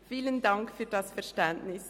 Vielen Dank für das Verständnis.